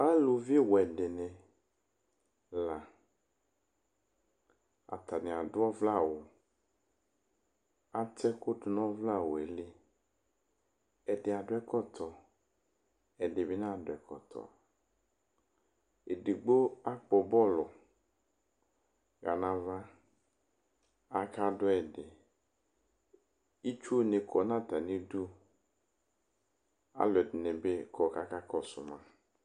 aluvi wɛ dinɩ, la atanɩ adu ɔvlɛ awu, ată ɛkutu nu ɔvlɛ awu yɛ li, ɛdɩ adu ɛkɔtɔ , ɛdɩbɩ nadu ɛkɔtɔ, edigbo akpɔ bɔlu, ɣa nava, akadu ɛdɩ, itsu nɩ kɔ nu atamidu, aluɛdɩnɩ bɩ kɔ kakakɔsu ma